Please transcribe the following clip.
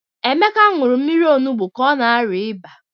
Emeka ṅụrụ mmiri onugbu ka ọ na-arịa ịba.